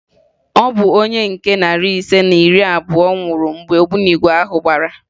Ọ bụ onye nke narị ise na iri abụọ nwụrụ mgbe ogbunigwe ahụ gbara